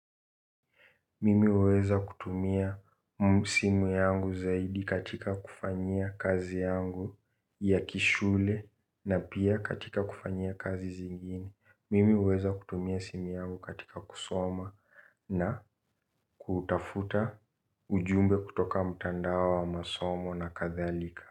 Mimi uweza kutumia simu yangu zaidi katika kufanyia kazi yangu ya kishule na pia katika kufanyia kazi zingine. Mimi uweza kutumia simu yangu katika kusoma na kutafuta ujumbe kutoka mtandao wa masomo na kadhalika.